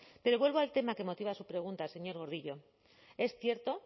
pero vuelvo al tema que motiva a su pregunta señor gordillo es cierto